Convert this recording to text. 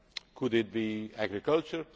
that. Could it be agriculture?